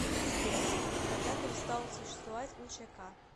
сбер когда перестал существовать учк